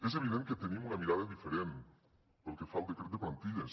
és evident que tenim una mirada diferent pel que fa al decret de plantilles